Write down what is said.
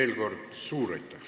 Veel kord suur aitäh!